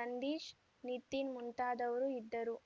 ನಂದೀಶ್‌ ನಿತಿನ್‌ ಮುಂತಾದವರು ಇದ್ದರು